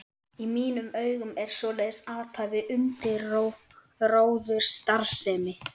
Í mínum augum er svoleiðis athæfi undirróðursstarfsemi.